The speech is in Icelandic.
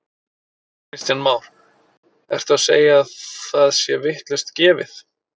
Kristján Már: Ertu að segja að það sé vitlaust gefið?